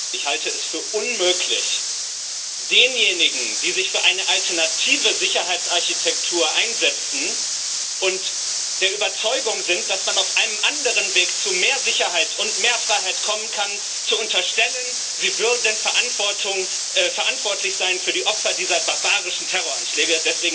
Ich halte es für unmöglich, denjenigen, die sich für eine alternative Sicherheitsarchitektur einsetzen und der Überzeugung sind, dass man auf einem anderen Weg zu mehr Sicherheit und mehr Freiheit kommen kann, zu unterstellen, sie seien verantwortlich für die Opfer dieser barbarischen Terroranschläge.